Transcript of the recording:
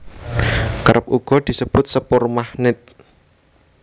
Kerep uga disebut sepur magnèt